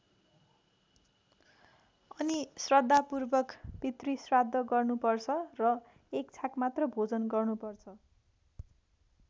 अनि श्रद्धापूर्वक पितृश्राद्ध गर्नुपर्छ र एक छाक मात्र भोजन गर्नुपर्छ।